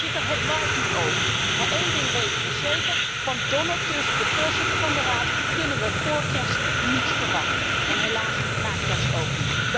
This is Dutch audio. Voorzitter, het waait niet over, maar één ding weten we zeker van Donald Tusk, de voorzitter van de Raad kunnen we vóór kerst niets verwachten, en helaas na kerst ook